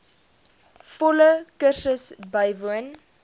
volle kursus bywoon